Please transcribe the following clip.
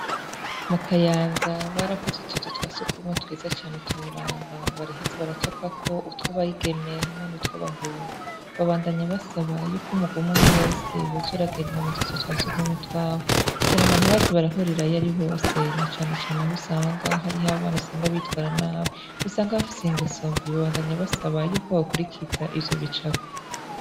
Mu kayanza barakoze utuzu twasugumwe twiza cane utoraba baraheza baracapako utw’abigeme hamwe nutw’abahungu babandanya basaba yuko umugwi umwe umwe wese woza uragenda mu tuzu twa sugumwe twabo kugirango ntibaze barahirirayo ari bose na cane aho usanga hariyo abana bitwara nabi usanga bafise ingeso mbi babandanya basaba yuko bokurikiza ivyo bicapo.